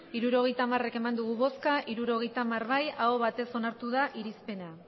hirurogeita hamar eman dugu bozka hirurogeita hamar bai aho batez onartu da irizpena